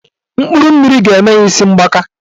Mkpụrụ mmiri ga-eme ha isi mgbaka